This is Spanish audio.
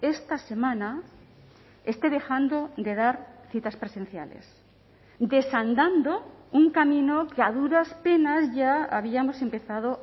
esta semana esté dejando de dar citas presenciales desandando un camino que a duras penas ya habíamos empezado